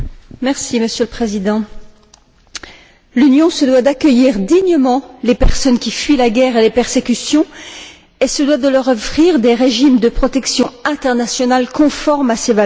Monsieur le Président, l'Union se doit d'accueillir dignement les personnes qui fuient la guerre et les persécutions et de leur offrir des régimes de protection internationale conformes à ses valeurs.